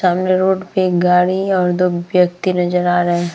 सामने रोड पे एक गाड़ी और दो व्यक्ति नजर आ रहे हैं।